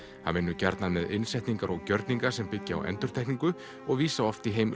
hann vinnur gjarnan með innsetningar og gjörninga sem byggja á endurtekningu og vísa oft í heim